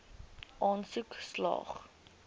aansoek slaag